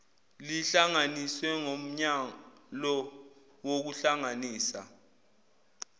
lihlanganiswe ngomyalo wokuhlanganisa